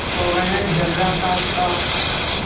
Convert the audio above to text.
पवन थर्राता था